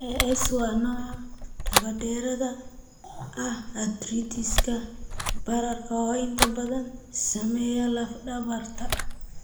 Ankylosing spondylitis (AS) waa nooc dabadheeraad ah, arthritis-ka bararka oo inta badan saameeya laf dhabarta.